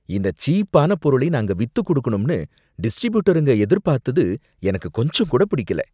இந்த சீப்பான பொருளை நாங்க வித்துக்குடுக்கணும்னு டிஸ்ட்ரிபியூட்டருங்க எதிர்பார்த்தது எனக்கு கொஞ்சம் கூட புடிக்கல.